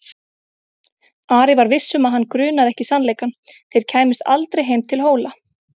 Ari var viss um að hann grunaði ekki sannleikann: þeir kæmust aldrei heim til Hóla.